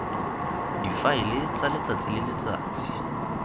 difaele tsa letsatsi le letsatsi